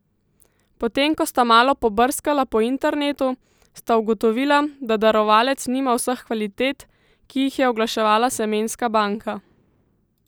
Potem ko sta malo pobrskala po internetu, sta ugotovila, da darovalec nima vseh kvalitet, ki jih je oglaševala semenska banka.